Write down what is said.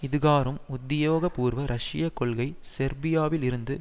இதுகாறும் உத்தியோகபூர்வ ரஷ்ய கொள்கை செர்பியாவில் இருந்து